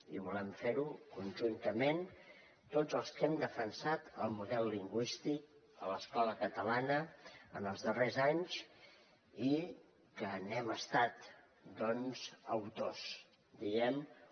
i volem fer ho conjuntament tots els que hem defensat el model lingüístic de l’escola catalana en els darrers anys i que n’hem estat doncs autors diguem ne